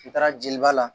U taara jeliba la